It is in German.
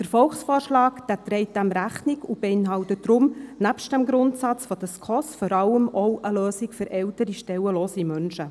Der Volksvorschlag trägt dem Rechnung und beinhaltet deshalb nebst dem Grundsatz der SKOS-Richtlinien vor allem auch eine Lösung für ältere stellenlose Menschen.